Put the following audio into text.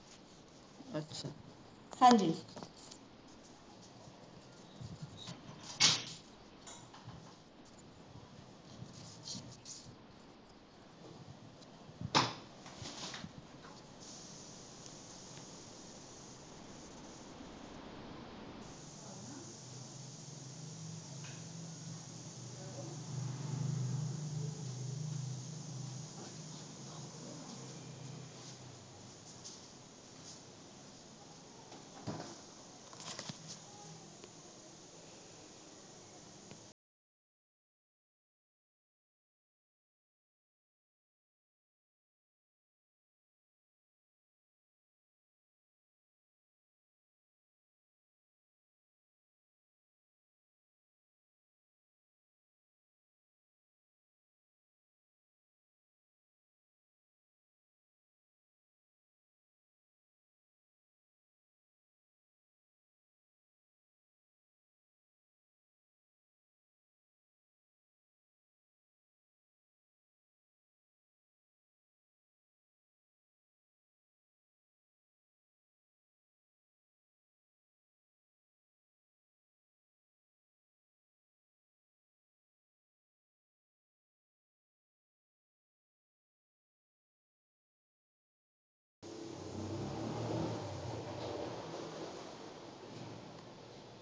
ਹਾਂਜੀ